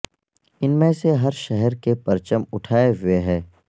ان میں سے ہر شہر کے پرچم اٹھائے ہوئے ہے